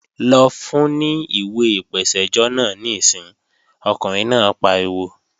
Lọ fun ní ìwé ìpèsẹ́jọ́ náà níìsín, ọkùnrin náà pariwo!